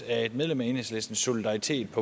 af et medlem af enhedslisten solidaritetdk